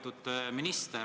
Toomas Kivimägi, palun!